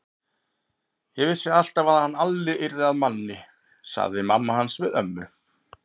Ég vissi alltaf að hann Alli yrði að manni, sagði mamma hans við ömmu.